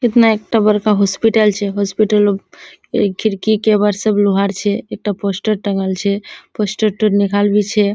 कितना एकटा बड़का हॉस्पिटल छे। हॉस्पिटल रो खिड़की केवाड़ सब लोहा आर छे। एकटा पोस्टर टांगल छे पोस्टर टो निकालबी छे।